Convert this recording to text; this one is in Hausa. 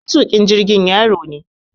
Matuƙin jirgin yaro ne